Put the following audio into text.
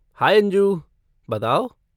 High Anju, बताओ।